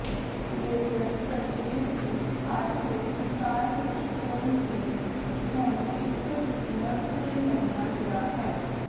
laser surgery ਦੀ ਅੱਜ ਦੇ ਸੰਸਾਰ ਵਿਚ ਕੋਈ ਵੀ ਹੁਣ ਇੱਕ ਲਗਜ਼ਰੀ ਮੰਨਿਆ ਗਿਆ ਹੈ